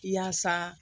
Yaasa